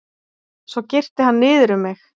Svo girti hann niður um mig.